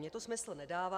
Mně to smysl nedává.